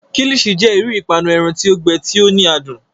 Kilichi jẹ iru ipanu ẹran ti o gbẹ, ti o ni adun.